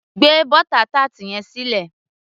gbé butter tart yẹn sílẹ̀